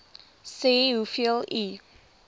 sê hoeveel u